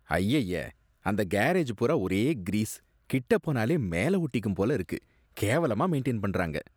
அய்யய்ய! அந்த கேரேஜ் பூரா ஒரே கிரீஸ். கிட்ட போனாலே மேல ஒட்டிக்கும் போல இருக்கு. கேவலமா மெயின்டைன் பண்றாங்க.